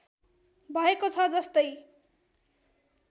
भएको छ जस्तै